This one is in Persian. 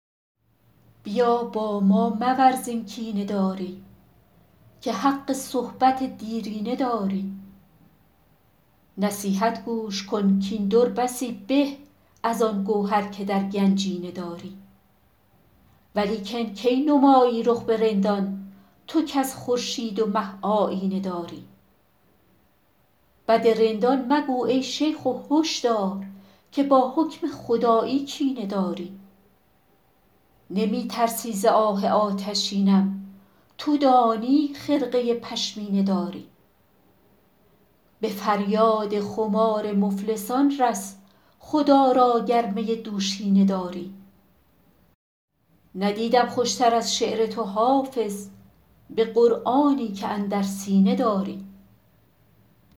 بیا با ما مورز این کینه داری که حق صحبت دیرینه داری نصیحت گوش کن کاین در بسی به از آن گوهر که در گنجینه داری ولیکن کی نمایی رخ به رندان تو کز خورشید و مه آیینه داری بد رندان مگو ای شیخ و هش دار که با حکم خدایی کینه داری نمی ترسی ز آه آتشینم تو دانی خرقه پشمینه داری به فریاد خمار مفلسان رس خدا را گر می دوشینه داری ندیدم خوش تر از شعر تو حافظ به قرآنی که اندر سینه داری